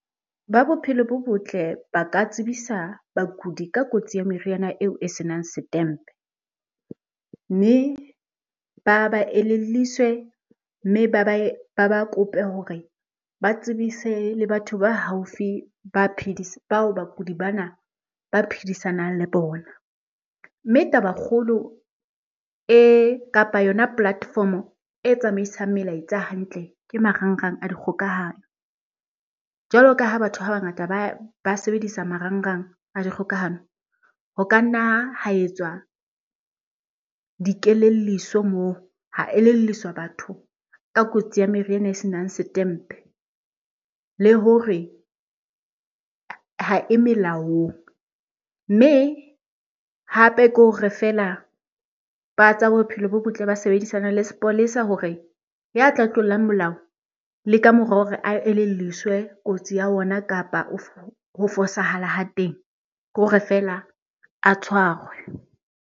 Ba bophelo bo botle ba ka tsebisa bakudi ka kotsi ya meriana eo e senang setempe. Mme ba ba elelliswe mme ba ba kope hore ba tsebise le batho ba haufi ba bao bakudi bana ba phedisanang le bona. Mme tabakgolo e, kapa yona platform-o e tsamaisang melaetsa hantle ke marangrang a di kgokahanyo. Jwalo ka ha batho ba bangata ba sebedisa marangrang a dikgokahanyo, ho ka nna ha etswa dikelelliso moo, ha elelliswa batho ka kotsi ya meriana e senang setempe le hore ha e melaong. Mme, hape ke hore feela ba tsa bophelo bo botle ba sebedisane le sepolesa hore ya tla tlolang molao le ka mora hore a elelliswe kotsi ya ona kapa ho fosahala ha teng, ke hore fela a tshwarwe.